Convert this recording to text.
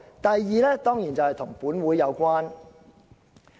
第二，當然與本會有關。